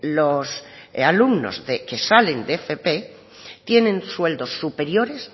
los alumnos que salen de fp tienen sueldos superiores